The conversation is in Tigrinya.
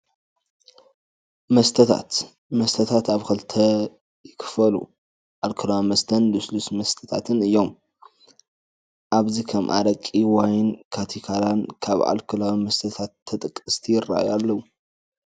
መስተታት፡- መስተታት ኣብ ክልተ ይኽፈሉ፡፡ ኣልኮላዊ መስተን ልስሉስ መስተታትን እዮም፡፡ ኣብዚ ከም ኣረቂ፣ ዋይን ካቲካን ካብ ኣልኮላዊ መስተታት ተጠቀስቲ ይራኣዩ ኣለው፡፡